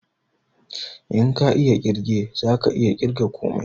In ka iya ƙirge zaka iya ƙirga komai